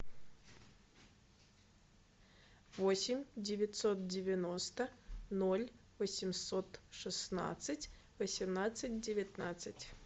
восемь девятьсот девяносто ноль восемьсот шестнадцать восемнадцать девятнадцать